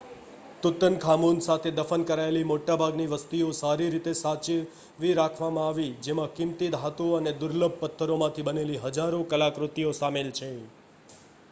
Tutankhamun સાથે દફન કરાયેલી મોટાભાગની વસ્તુઓ સારી રીતે સાચવી રાખવામાં આવી જેમાં કિંમતી ધાતુઓ અને દુર્લભ પથ્થરોમાંથી બનેલી હજારો કલાકૃતિઓ સામેલ છે